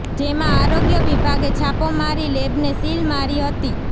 જેમાં આરોગ્ય વિભાગે છાપો મારી લેબને સીલ મારી હતી